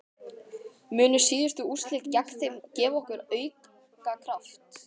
Munu síðustu úrslit gegn þeim gefa okkur auka kraft?